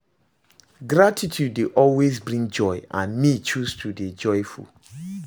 Gratitude dey always bring joy, and me choose to dey joyful